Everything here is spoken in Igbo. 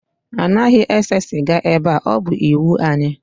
Anaghị ese sịga ebe a, ọ bụ iwu anyị